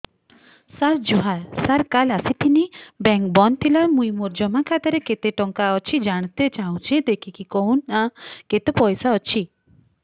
ସାର ଜୁହାର ସାର କାଲ ଆସିଥିନି ବେଙ୍କ ବନ୍ଦ ଥିଲା ମୁଇଁ ମୋର ଜମା ଖାତାରେ କେତେ ଟଙ୍କା ଅଛି ଜାଣତେ ଚାହୁଁଛେ ଦେଖିକି କହୁନ ନା କେତ ପଇସା ଅଛି